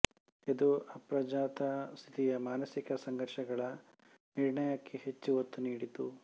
ಇದು ಅಪ್ರಜ್ಞಾತ ಸ್ಥಿತಿಯ ಮಾನಸಿಕ ಸಂಘರ್ಷಗಳ ನಿರ್ಣಯಕ್ಕೆ ಹೆಚ್ಚು ಒತ್ತುನೀಡಿತು